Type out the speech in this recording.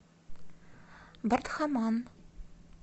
бардхаман